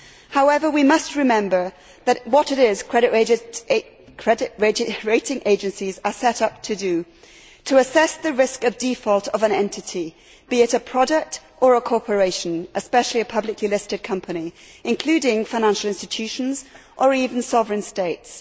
However, we must remember what it is credit rating agencies are set up to do to assess the risk of default of an entity, be it a product or a corporation, especially a publicly listed company including financial institutions or even sovereign states.